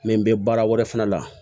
Mɛ n bɛ baara wɛrɛ fana la